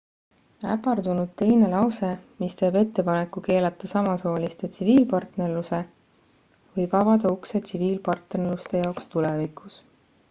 äpardunud teine lause mis teeb ettepaneku keelata samasooliste tsiviilpartnerluse võib avada ukse tsiviilpartnerluste jaoks tulevikus